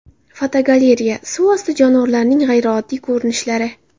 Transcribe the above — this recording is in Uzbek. Fotogalereya: Suv osti jonivorlarining g‘ayrioddiy ko‘rinishlari.